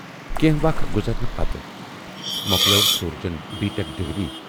کینہہ وَق گُزرنہٕ پتہٕ مۅکلٲو سورجن بی ٹیٚک ڈگری۔